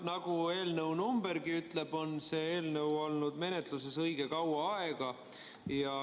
Nagu eelnõu numbergi ütleb, on see eelnõu olnud menetluses õige kaua aega.